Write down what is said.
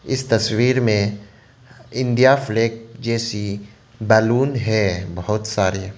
इस तस्वीर में इंडिया फ्लैग जैसी बैलून है बहुत सारे।